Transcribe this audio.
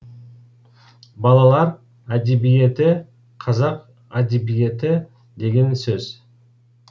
балалар әдебиеті қазақ әдебиеті деген сөз